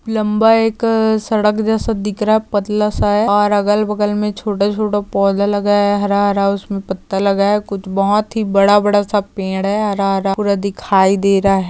लंबा एक सड़क जैसा दिख रहा है पतलासा है और अगल बगल मे छोटे छोटे पौधे लगाया है हरा हरा उसमे पत्ता लगा है बहुत ही बड़ा बड़ासा पेड़ है हरा हरा पूरा दिखाई दे रहा है।